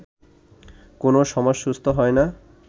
কোনও সমাজ সুস্থ হয় না